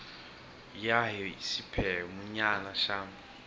ya hi xiphemu nyana xa